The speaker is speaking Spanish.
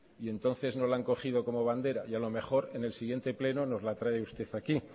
y entonces no la han cogido como bandera y a lo mejor en el siguiente pleno nos lo trae usted aquí